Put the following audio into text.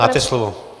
Máte slovo.